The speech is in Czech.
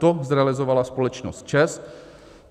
To realizovala společnost ČEZ.